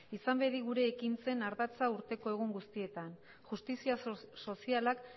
izan bedi gure ekintzen ardatza urteko egun guztietan justizia sozialak